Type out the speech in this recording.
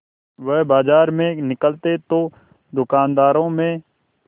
वह बाजार में निकलते तो दूकानदारों में